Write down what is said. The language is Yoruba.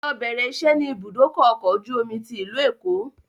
Lọ bẹ̀rẹ̀ ìṣẹ́ ni ibùdókọ̀ ọkọ̀ ojú omi tí ìlú Èkó!